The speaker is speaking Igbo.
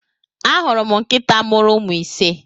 Ahuru m nkịta mụrụ ụmụ ise.